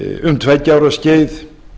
um tveggja ára skeið